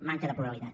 manca de pluralitat